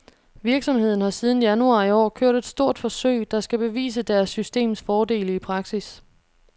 Virksomheden har siden januar i år kørt et stort forsøg, der skal bevise deres systems fordele i praksis.